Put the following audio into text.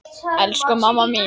Elsku mamma mín.